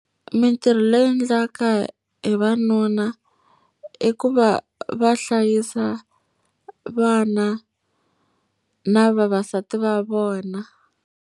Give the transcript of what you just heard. Mintirho leyi endlawaka hi vanuna i ku va va hlayisa vana na vavasati va vona.